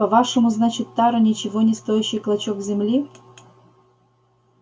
по-вашему значит тара ничего не стоящий клочок земли